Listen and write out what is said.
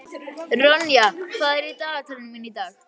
Ronja, hvað er í dagatalinu mínu í dag?